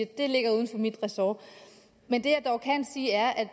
det ligger uden for mit ressort men det jeg dog kan sige er at